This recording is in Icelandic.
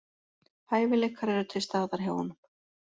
Hæfileikar eru til staðar hjá honum